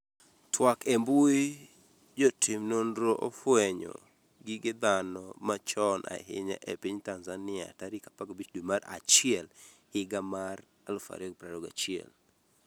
twak e mbui, Jotim nonro ofwenyo gige dhano machon ahinya e piny Tanzania tarik 15 dwe mar achiel higa mar 2021